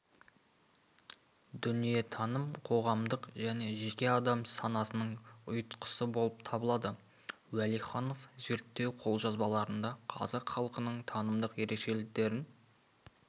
дүниетаным қоғамдық және жеке адам санасының ұйтқысы болып табылады уәлиханов зерттеу қолжазбаларында қазақ халқының танымдық ерекшеліктерін